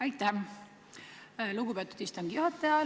Aitäh, lugupeetud istungi juhataja!